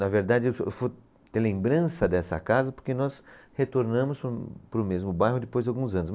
Na verdade, eu fui ter lembrança dessa casa porque nós retornamos para, para o mesmo bairro depois de alguns anos.